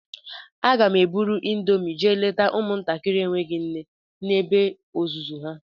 Aga m eburu índomi jee leta ụmụ ntakịrị enweghị nne na ebe ọzụzụ ha.